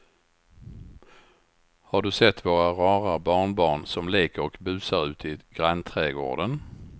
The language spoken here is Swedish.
Har du sett våra rara barnbarn som leker och busar ute i grannträdgården!